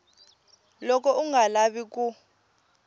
loko u nga lavi ku